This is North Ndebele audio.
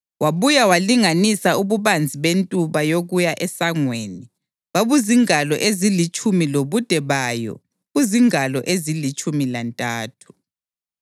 Wabuya walinganisa ububanzi bentuba yokuya esangweni; babuzingalo ezilitshumi lobude bayo buzingalo ezilitshumi lantathu.